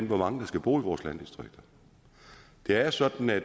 hvor mange der skal bo i vores landdistrikter det er sådan at